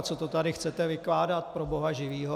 A co to tady chcete vykládat, pro boha živýho!